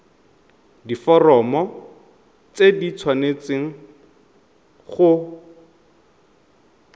diforomo tse di tshwanesteng go